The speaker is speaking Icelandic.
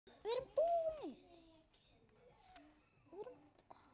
Allir elskuðu hann.